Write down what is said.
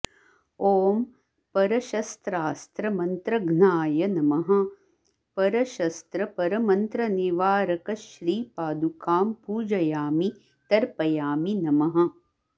ॐ परशस्त्रास्त्र मन्त्रघ्नाय नमः परशस्त्रपरमंत्रनिवारकश्रीपादुकां पूजयामि तर्पयामि नमः